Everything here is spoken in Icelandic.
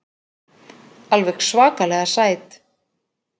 Alveg svakalega sæt.